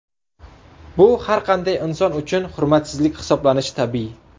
Bu har qanday inson uchun hurmatsizlik hisoblanishi tabiiy.